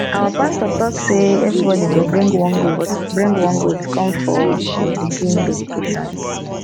our pastor talk say everybody go bring one goat bring one goat come for him pikin dedication